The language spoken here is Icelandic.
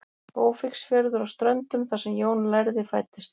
Ófeigsfjörður á Ströndum þar sem Jón lærði fæddist.